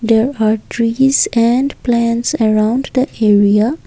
there are trees and plants around the area.